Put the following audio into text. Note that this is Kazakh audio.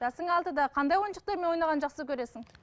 жасың алтыда қандай ойыншықтармен ойнағанды жақсы көресің